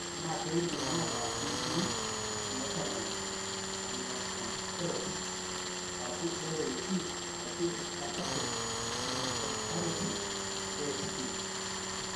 Ore kuna keidim ataa ketii ealanine aminotransferase (ALT) ashu easpartate aminotransferase (AST).